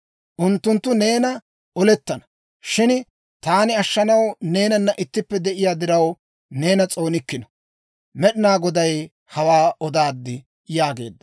Unttunttu neenanna olettana. Shin taani ashshanaw neenana ittippe de'iyaa diraw, neena s'oonikkino. Med'inaa Goday hawaa odaad» yaageedda.